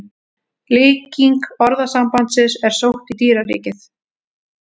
Líking orðasambandsins er sótt í dýraríkið.